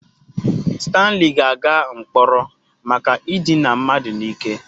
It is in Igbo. Stanley ga-aga mkpọrọ maka idina mmadụ n'ike.